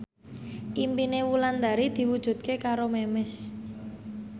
impine Wulandari diwujudke karo Memes